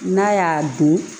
N'a y'a don